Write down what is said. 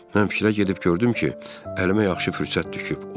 Mən fikrə gedib gördüm ki, əlimə yaxşı fürsət düşüb.